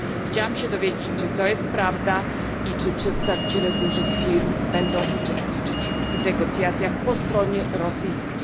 Chciałabym się dowiedzieć, czy to jest prawda i czy przedstawiciele dużych firm będą uczestniczyć w negocjacjach po stronie rosyjskiej.